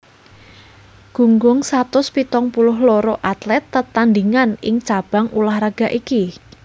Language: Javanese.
Gunggung satus pitung puluh loro atlet tetandhingan ing cabang ulah raga iki